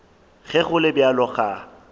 ge go le bjalo ga